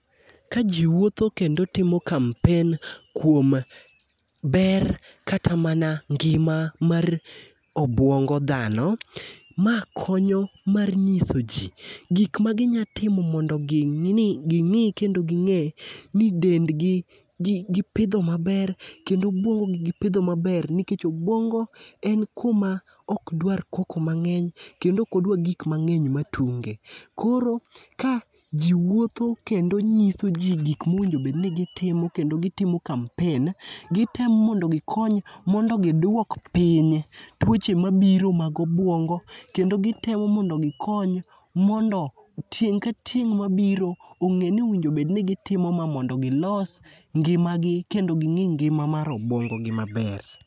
Ka ji wuotho kendo timo kampen kuom ber kata mana ngima mar obwongo dhano, ma konyo mar nyiso ji gik ma ginyatimo mondo ging'i kendo ging'e ni dendgi gi gipidho maber ,kendo obwongo gipidho maber nikech obwongo en kuma ok dwar koko mang'eny kendo ok odwa gik mang'eny matunge. Koro kae ji wuotho kendo nyiso ji gik mowinjo bed ni gitimo kendo gitimo kampen. Gitemo mondo gikony mondo gidwok piny twoche mabiro mag obwongo ,kendo gitemo mondo gikony mondo tieng' ka tieng' mabiro ong;e ni owinjo bed ni gitimo ma mondo gilos ngimagi kendo ging'i ngima mar obwongogi maber.